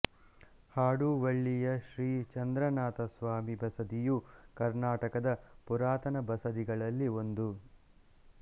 ಹಾಡುವಳ್ಳಿಯ ಶ್ರೀ ಚಂದ್ರನಾಥ ಸ್ವಾಮಿ ಬಸದಿಯು ಕರ್ನಾಟಕದ ಪುರಾತನ ಬಸದಿಗಳಲ್ಲಿ ಒಂದು